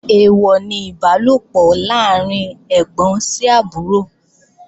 Èèwọ̀ ni Ìbálòpọ̀ láàrín ẹ́gbọ́n sí àbúrò